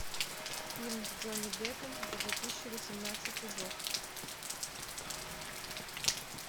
фильм с джонни деппом за две тысячи восемнадцатый год